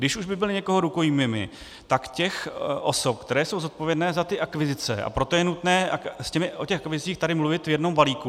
Když už by byli někoho rukojmími, tak těch osob, které jsou zodpovědné za ty akvizice, a proto je nutné o těch akvizicích tady mluvit v jednom balíku.